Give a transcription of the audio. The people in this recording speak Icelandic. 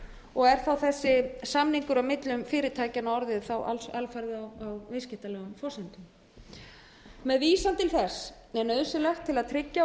og er þá þessi samningur á millum fyrirtækjanna orðið alfarið á viðskiptalegum forsendum með vísan til þess er nauðsynlegt að tryggja og